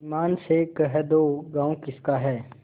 ईमान से कह दो गॉँव किसका है